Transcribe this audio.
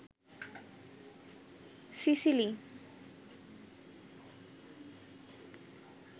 Sicily